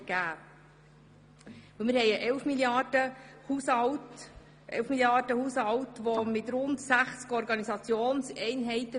Wir haben einen Elf-Milliarden-Haushalt mit rund 60 Organisationseinheiten.